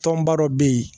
Tɔnba dɔ bɛ yen